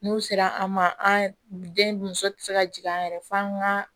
N'u sera an ma an den muso tɛ se ka jigin an yɛrɛ f'an ka